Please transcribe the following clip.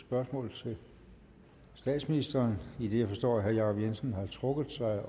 spørgsmål til statsministeren idet jeg forstår at herre jacob jensen har trukket sig